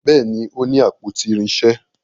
Béèni o ní àpótí irinṣẹ.